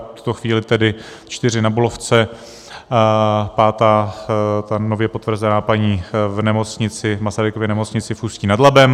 V tuto chvíli tedy čtyři na Bulovce, pátá, ta nově potvrzená paní, v Masarykově nemocnici v Ústí nad Labem.